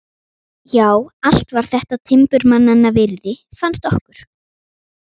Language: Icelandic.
Já, allt var þetta timburmannanna virði, fannst okkur.